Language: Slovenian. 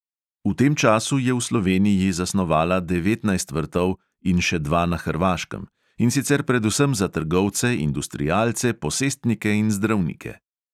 V tem času je v sloveniji zasnovala devetnajst vrtov in še dva na hrvaškem, in sicer predvsem za trgovce, industrialce, posestnike in zdravnike.